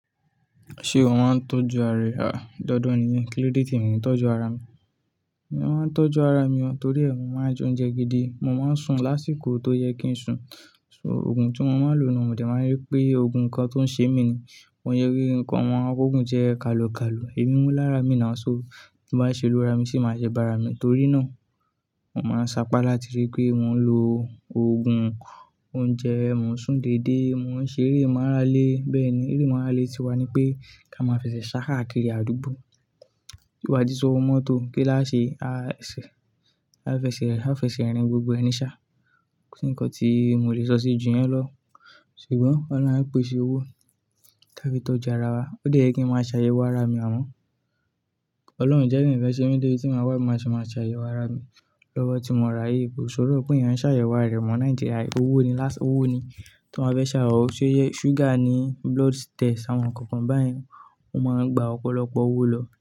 Ṣé ó máa ń tọ́jú ara rẹ̀? À, dandan ni kí Lídétì mú tọ́jú ara mi. Mo máa ń tọ́jú ara mi, torí ẹ́, mo máa ń jẹ oúnjẹ gidi. Mo máa ń sùn lásìkò tó yẹ kí n sùn. So òògùn tí mo máa ń lo náà, mo lè máa rí pé òògùn nkan tó ń ṣe mí ni. Wọ́n yẹ kí ǹkan ọmọ a kókó jẹ́ kalokalo, ẹ̀mí wọ́n lára mi ni a san. Bí bá ṣe ló ra mi, ṣé máa jẹ́ bá ara mi? Torí náà, mo máa ń sapá láti rí pé wọn lò òògùn mo n jeun, mo ń sùn déédé, mo ń ṣe eré màrálé. Bẹ́ẹ̀ni, eré ìmàrálé ti wà ní pé ká máa fẹsẹ̀ sá háà kiri àdúgbò. Bí ò bá ti sówó mọ́tò kí lá ṣe, a fẹsẹ̀ rìn gbogbo ẹni ṣá. Nkan tí mo lè sọ sí ò jù yẹn lọ. Ṣùgbọ́n ọlọ́hun á pèsè owó láti tó jẹ ara wa. Ó lè jẹ́ kí n máa ṣàyẹ̀wò ara mi, àmọ́ Ọlọ́run jẹ́ kí n fẹ́ ṣe mí dé tí màá wá, mo ṣe máa ṣàyẹ̀wò ara mi. Lọ́wọ́ tí mo ra ayé, kò ṣòro pé èèyàn ń ṣàyẹ̀wò ara rẹ̀ mọ̀ ní Nàìjíríà. Owó ni láṣ-- owó ni tí wọ́n bá fẹ́ ṣàwọn, ṣúgà ni, blood test àwọn nǹkan báyìí, ó máa ń gba ọ̀pọ̀lọpọ̀ owó lọ.